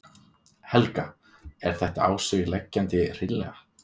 Helga: Er þetta á sig leggjandi hreinlega?